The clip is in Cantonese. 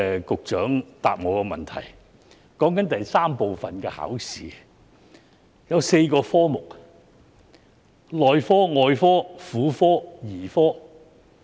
局長的答覆提到，第三部分的考試共設有4個科目，包括內科、外科、婦產科及兒科。